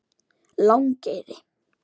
Langeyri